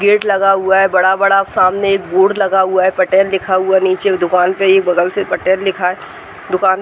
Gate लगा हुआ है बड़ा-बड़ा। सामने एक बोर्ड लगा हुआ है। पटेल लिखा हुआ है। नीचे दुकान पे एक बगल से पटेल लिखा है। दुकान --